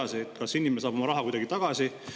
Mis saab nüüd edasi, kas inimene saab raha tagasi?